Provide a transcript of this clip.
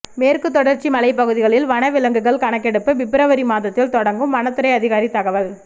மேற்குத் தொடர்ச்சி மலைப்பகுதிகளில் வனவிலங்குகள் கணக்கெடுப்பு பிப்ரவரி மாதத்தில் தொடங்கும் வனத்துறை அதிகாரி தகவல்